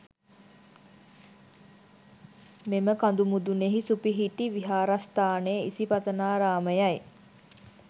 මෙම කඳු මුදුනෙහි සුපිහිටි විහාරස්ථානය ඉසිපතනාරාමයයි.